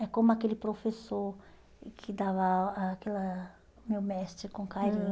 É como aquele professor que dava eh aquela o meu mestre com carinho.